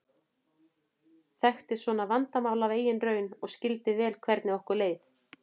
Þekkti svona vandamál af eigin raun og skildi vel hvernig okkur leið.